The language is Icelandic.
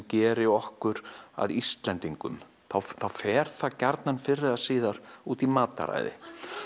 gerir okkur að Íslendingum þá fer það fyrr eða síðar út í mataræði